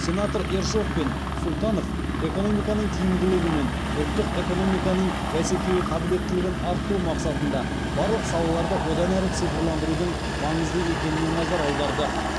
сенаторлар ершов пен сұлтанов экономиканың тиімділігі мен ұлттық экономиканың бәсекеге қабілеттілігін арттыру мақсатында барлық салаларды одан әрі цифрландырудың маңызды екеніне назар аударды